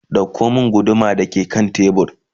ɗauko min guduma da ke kan tebur!